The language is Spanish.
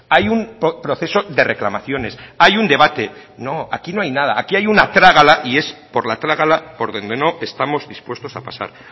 hay un proceso de reclamaciones hay un debate no aquí no hay nada aquí hay una trágala y es por la trágala por donde no estamos dispuestos a pasar